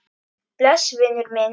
Bless vinur minn.